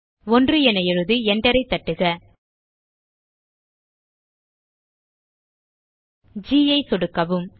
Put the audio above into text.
1 என எழுதி enter ஐ தட்டுக ஜி ஐ சொடுக்கவும்